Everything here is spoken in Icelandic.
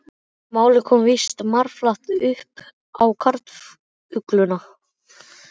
Málið kom víst marflatt upp á karlugluna.